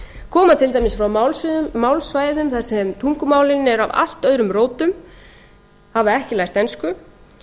koma til dæmis frá málsvæðum þar sem tungumálin eru af allt öðrum rótum hafa ekki lært ensku